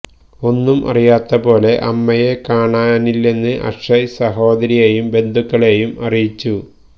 ഒന്നും അറിയാത്ത പോലെ അമ്മയെ കാണാനില്ലെന്ന് അക്ഷയ് സഹോദരിയേയും ബന്ധുക്കളേയും അറിയിച്ചു